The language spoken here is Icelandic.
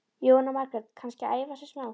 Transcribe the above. Jóhanna Margrét: Kannski að æfa sig smá?